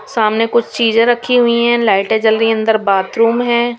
सामने कुछ चीजें रखी हुई हैं लाइटें जल रही है अन्दर बाथरूम है।